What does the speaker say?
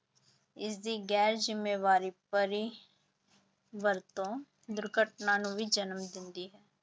ਇਸਦੀ ਗੈਰ ਜ਼ਿੰਮੇਵਾਰੀ ਭਰੀ ਵਰਤੋਂ ਦੁਰਘਟਨਾ ਨੂੰ ਵੀ ਜਨਮ ਦਿੰਦੀ ਹੈ।